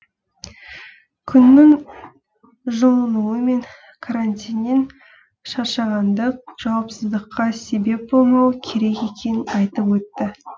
күннің жылынуы мен карантиннен шаршағандық жауапсыздыққа себеп болмауы керек екенін айтып өтті